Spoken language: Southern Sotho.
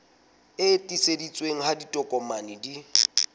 e tiiseditsweng ha ditokomane di